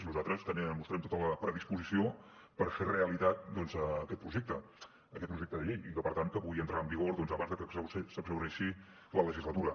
nosaltres mostrem tota la predisposició per fer realitat doncs aquest projecte aquest projecte de llei i que per tant pugui entrar en vigor abans que s’exhaureixi la legislatura